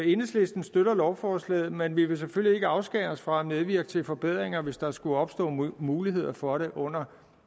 enhedslisten støtter lovforslaget men vi vil selvfølgelig ikke afskære os fra at medvirke til forbedringer hvis der skulle opstå muligheder for det under